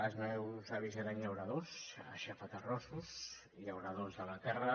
els meus avis eren llauradors aixafaterrossos llauradors de la terra